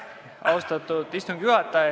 Austatud istungi juhataja!